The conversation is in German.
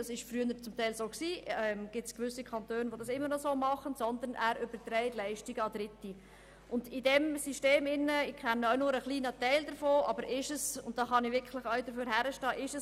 Der Kanton führt diese Institutionen nicht mehr selbst, wie das einige Kantone noch tun, sondern überträgt Aufgaben an Dritte.